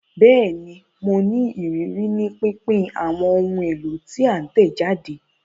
Bẹẹni, Mo ní ìrírí ni pínpín awọn ohùn èlò ti a tẹjade